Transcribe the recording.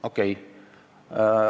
Okei.